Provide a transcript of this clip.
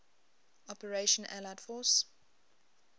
operation allied force